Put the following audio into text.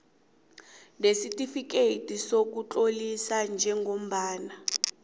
nesitifikeyiti sokutlolisa njengombana